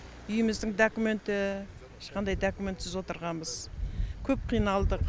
үйіміздің документі ешқандай документсіз отырғанбыз көп қиналдық